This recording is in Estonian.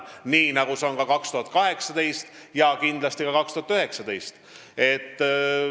Nii on see ka 2018 ja kindlasti ka 2019.